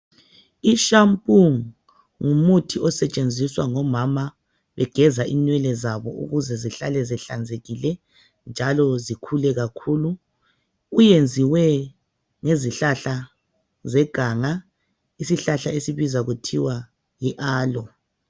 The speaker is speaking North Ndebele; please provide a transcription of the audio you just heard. I shampoo ngumuthi osetshenziswa ngomama begeza inwele zabo ukuze zihlale zihlanzekile njalo zikhule kakhulu. Uyenziwe ngezihlahla zeganga, isihlahla esibizwa kuthiwa yi aloe.